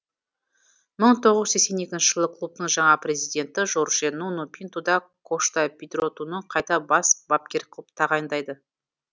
мың тоғыз жүз сексен екінші жылы клубтың жаңа президенті жорже нуну пинту да кошта педротуны қайта бас бапкер қылып тағайындайды